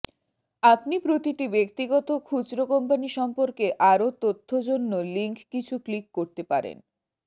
আপনি প্রতিটি ব্যক্তিগত খুচরো কোম্পানি সম্পর্কে আরো তথ্য জন্য লিঙ্ক কিছু ক্লিক করতে পারেন